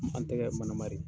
An tɛgɛ mana